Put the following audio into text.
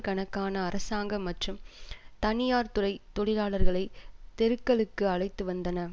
கணக்கான அரசாங்க மற்றும் தனியார் துறை தொழிலாளர்களை தெருக்களுக்கு அழைத்து வந்தன